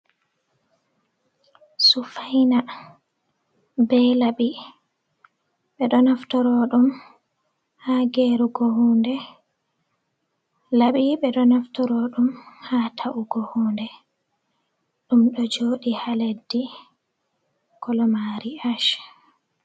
Sufaina be laɓi, ɓe ɗo naftoro ɗum ha gerugo huunde. Laɓi ɓe ɗo naftoro ɗum ha ta’ugo huunde, ɗum ɗo jooɗi ha leddi, kolo maari ash.